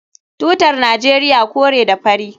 Tutar Najeriya kore da fari